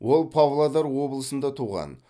ол павлодар облысында туған